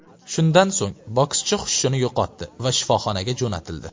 Shundan so‘ng, bokschi xushini yo‘qotdi va shifoxonaga jo‘natildi.